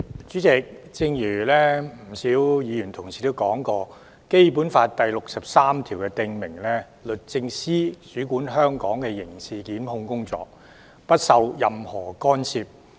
主席，正如不少議員指出，《基本法》第六十三條訂明，律政司主管香港的刑事檢控工作，不受任何干涉。